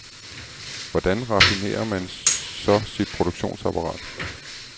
Hvordan raffinerer man så sit produktionsapparat?